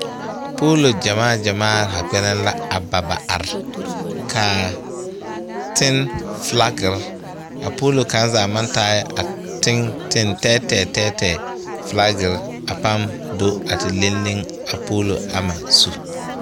Poolo gyamaa gyamaa haa kpɛlɛŋ la a ba ba are kaa tenne flakire a poolo kaŋ zaa maŋ taai a ten teŋ tɛɛtɛɛ tɛɛtɛɛ flagirre a paŋ do a ti leŋ leŋ a poolo ama zu.